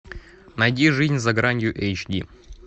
найди жизнь за гранью эйч ди